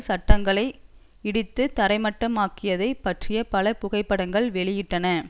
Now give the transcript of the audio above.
கட்டடங்களை இடித்து தரைமட்டமாக்கியதைப் பற்றி பல புகைப்படங்களை வெளியிட்டன